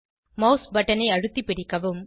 mouse பட்டனை அழுத்தி பிடிக்கவும்